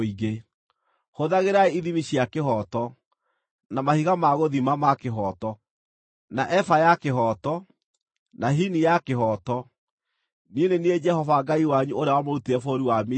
Hũthagĩrai ithimi cia kĩhooto, na mahiga ma gũthima ma kĩhooto, na eba ya kĩhooto, na hini ya kĩhooto. Niĩ nĩ niĩ Jehova Ngai wanyu ũrĩa wamũrutire bũrũri wa Misiri.